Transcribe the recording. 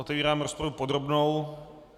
Otevírám rozpravu podrobnou.